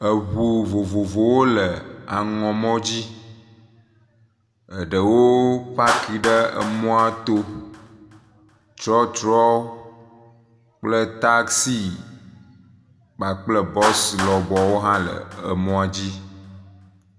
Eʋu vovovowo le aŋɔ mɔ dzi, eɖewo wo packi ɖe emɔa to, trɔtrɔ kple taxi kpakple bɔs lɔbɔwo hã le emɔa dzi.